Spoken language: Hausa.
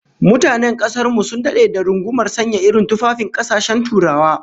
Mutanen kasar mu sun dade da rungumar sanya irin tufafin kasashen Turawa